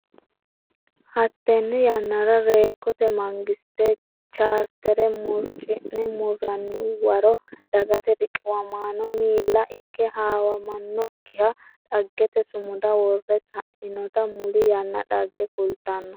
Hattenne yannara Reekkote Mangiste Chaartere murcine murranni waro Dagate Riqiwamaano miila ikke hawamannokkiha dhaggete sumuda wore sainota muli yanna dhagge kultanno.